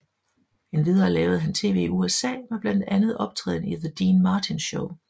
Endvidere lavede han tv i USA med blandet andet optræden i The Dean Martin Show